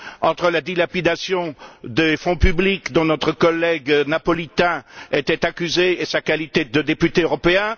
Entre la dilapidation des fonds publics dont notre collègue napolitain était accusé et sa qualité de député européen?